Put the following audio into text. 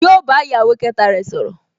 Yóò bá ìyàwó kẹta rẹ̀ sọ̀rọ̀